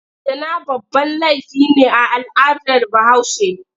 Zina babban laifi ne a al'adar Bahaushe.